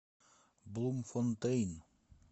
блумфонтейн